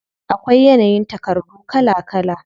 Akwai yanayin takardu kala kala.